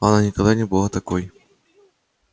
она никогда не была такой